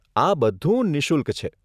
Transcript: આ બધું નિઃશુલ્ક છે.